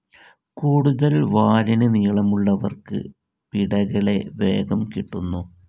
കൂടുതൽ വാലിന് നീളമുള്ളവർക്ക് പിടകളെ വേഗം കിട്ടുന്നു.